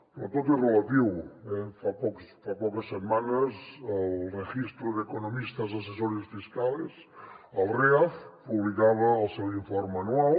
però tot és relatiu fa poques setmanes el registro de economistas asesores fiscales el reaf publicava el seu informe anual